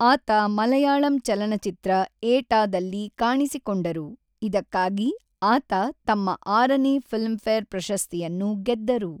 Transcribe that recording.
ಆತ ಮಲಯಾಳಂ ಚಲನಚಿತ್ರ ʼಏಟಾʼದಲ್ಲಿ ಕಾಣಿಸಿಕೊಂಡರು, ಇದಕ್ಕಾಗಿ ಆತ ತಮ್ಮ ಆರನೇ ಫಿಲ್ಮ್‌ಫೇರ್ ಪ್ರಶಸ್ತಿಯನ್ನು ಗೆದ್ದರು.